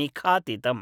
निखातितम्